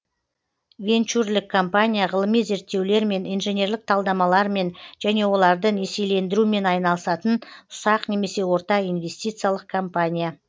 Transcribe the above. венчурлік компания ғылыми зерттеулермен инженерлік талдамалармен және оларды несиелендірумен айналысатын ұсақ немесе орта инвестициялық компания